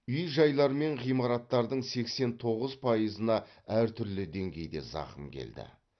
үй жайлар мен ғимараттардың сексен тоғыз пайызына әртүрлі деңгейде зақым келді